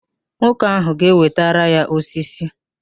Nwoke ahụ ga-ewetara ya osisi